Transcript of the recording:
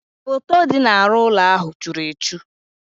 Foto dị n'ahụ́ ụlọ ahụ churu echu.